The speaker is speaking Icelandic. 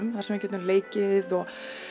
þar sem við getum leikið og